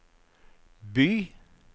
by